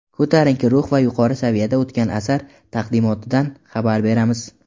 Ko‘tarinki ruh va yuqori saviyada o‘tgan asar taqdimotidan xabar beramiz!.